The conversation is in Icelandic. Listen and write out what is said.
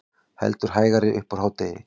Heldur hægari upp úr hádegi